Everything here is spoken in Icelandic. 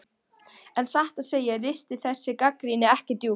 En satt að segja ristir þessi gagnrýni ekki djúpt.